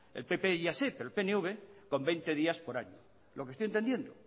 el pp ya sé pero el pnv con veinte días por año lo que estoy entendiendo